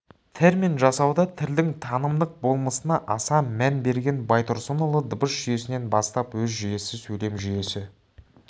термин жасауда тілдің танымдық болмысына аса мән берген байтұрсынұлы дыбыс жүйесінен бастап сөз жүйесі сөйлем жүйесі